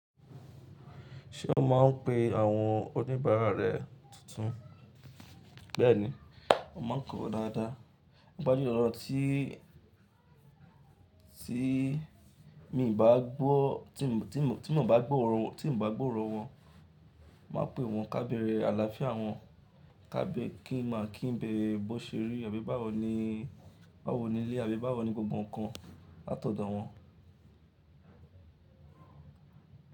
Ṣé o máa ń pe àwọn oníbàárà rẹ tuntun? Bẹ́ẹ̀ni, a máa ń kọ́ wọn dáadáa. Pádé ọ̀rọ̀ tí, tí mi ò bá gbọ́, tí mo, tí mo, tí mo bà gbóòrò, tí mo bà gbóòrò wọ́n, màá pe wọ́n ká bẹrẹ àlàáfíà wọn, ká bẹ kí n máa kí n bẹ bó ṣe rí àbí báwo ni, báwo ni ilé àbí báwo ni gbogbo nǹkan látọ̀dọ̀ wọn.